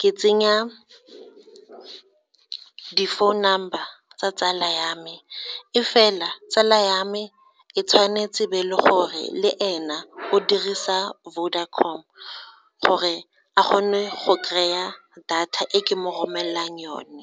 ke tsenya di-phone number tsa tsala ya me e fela tsala ya me e tshwanetse e be e le gore le ena o dirisa Vodacom gore a kgone go kry-a data e ke mo romelelang yone.